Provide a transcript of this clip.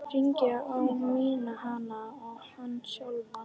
Hringurinn á að minna hana á hann sjálfan.